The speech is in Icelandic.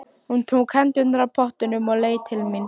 Hún tók hendurnar af pottunum og leit til mín.